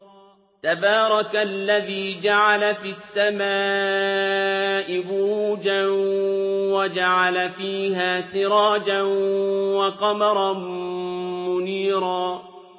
تَبَارَكَ الَّذِي جَعَلَ فِي السَّمَاءِ بُرُوجًا وَجَعَلَ فِيهَا سِرَاجًا وَقَمَرًا مُّنِيرًا